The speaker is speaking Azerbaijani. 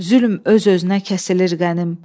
Zülm öz-özünə kəsilir qənim.